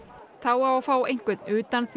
þá á að fá einhvern